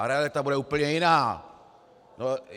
A realita bude úplně jiná!